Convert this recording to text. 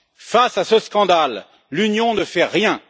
Face à ce scandale, l'Union ne fait rien!